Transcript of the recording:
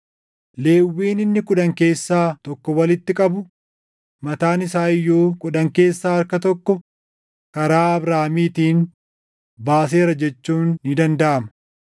Lewwiin inni kudhan keessaa tokko walitti qabu mataan isaa iyyuu kudhan keessaa harka tokko karaa Abrahaamiitiin baaseera jechuun ni dandaʼama;